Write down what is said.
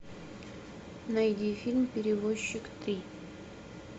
найди фильм перевозчик три